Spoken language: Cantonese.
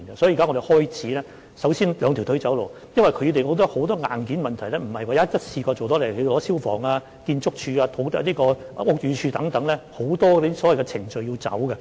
所以，我們現在首先"兩條腿走路"，因為有很多硬件問題也不是一下子處理得到的，例如牽涉到消防處、建築署、屋宇署等，有很多程序要處理。